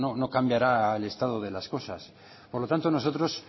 no cambiará el estado de las cosas por lo tanto nosotros